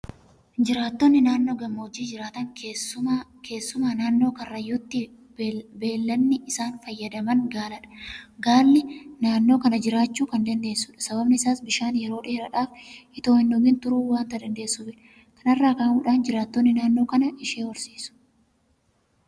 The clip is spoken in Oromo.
Jiraattonii naannoo gammoojjii jiraatan keessumaa naannoo karrayyuutti beellanni isaan fayyadaman Gaaladha. Gaallu naannoo kana jiraachuu kan dandeessudha. Sababni isaas bishaan yeroo dheeraadhaaf itoo hindhugin turuu waanta dandeessuufidha. Kana irraa ka'uudhaan jiraattonni naannoo kanaa ishee horsiisu.